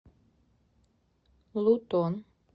лутон